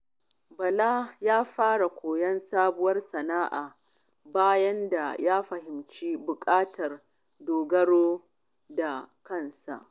Bala ya fara koyon sabuwar sana'a bayan ya fahimci buƙatar dogaro da kansa.